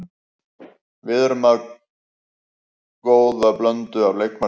Við erum með góða blöndu af leikmönnum.